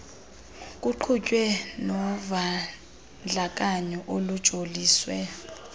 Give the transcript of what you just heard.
kuqhutywe novandlakanyo olujoliswe